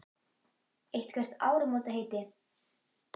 Eitthvert áramótaheiti?